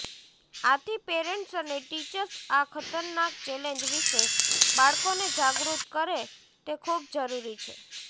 આથી પેરેન્ટ્સ અને ટીચર્સ આ ખતરનાક ચેલેન્જ વિશે બાળકોને જાગૃત કરે તે ખૂબ જરૂરી છે